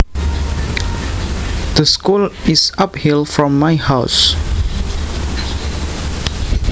The school is uphill from my house